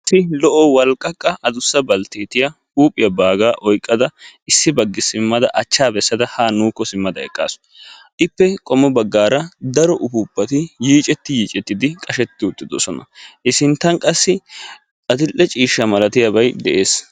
Issi lo'o walqqaqqa adussa baltteetiya huuphiya baagaa oyqqada Issi baggi simmada achchaa bessada haa nuukko simmada eqqaasu. Ippe qommo baggaara daro ufooppati yiicetti yiicettidi qashetti uttidosona. He sinttan qassi adill'e ciishsha malatiyabayi de'es.